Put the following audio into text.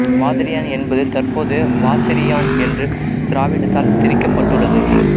வாதிரியான் என்பது தற்போது வாத்திரியான் என்று திராவிடத்தால் திரிக்கப் பட்டுள்ளது